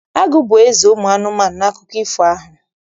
Agụ bụ eze ụmụ anụmanụ n'akụkọ ifo ahụ.